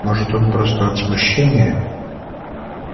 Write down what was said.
может он просто от смущения